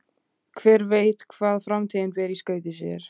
Hver veit hvað framtíðin ber í skauti sér?